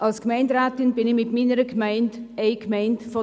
Ich bin Gemeinderätin einer dieser Gemeinden.